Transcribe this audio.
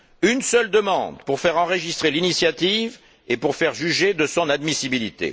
Une seule demande pour faire enregistrer l'initiative et pour faire juger de son admissibilité.